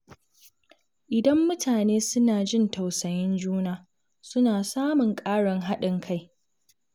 Idan mutane suna jin tausayin juna, suna samun ƙarin haɗin kai.